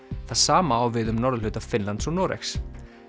það sama á við um norðurhluta Finnlands og Noregs